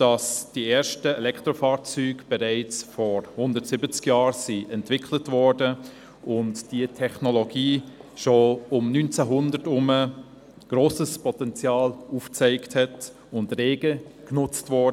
dass die ersten Elektrofahrzeuge bereits vor 170 Jahren entwickelt worden waren und die Technologie schon um 1900 grosses Potenzial aufzeigte und rege genutzt wurde.